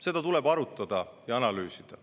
Seda tuleb arutada ja analüüsida.